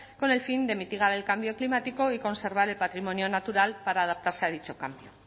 con el fin de mitigar el cambio climático y conservar el patrimonio natural para adaptarse a dicho cambio